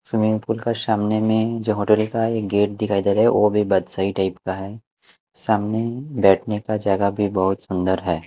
Swimming pool का सामने में जो होटल का एक गेट दिखाई दे रहा हैवह भी बदशाही टाइप का है सामने बैठने का जगह भी बहुत सुंदर है।